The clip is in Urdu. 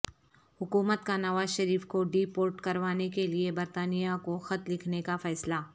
حکومت کا نوازشریف کو ڈی پورٹ کروانے کےلئے برطانیہ کو خط لکھنے کا فیصلہ